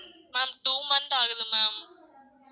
Ma'am two month ஆகுது ma'am